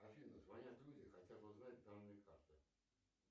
афина звонят люди хотят узнать данные карты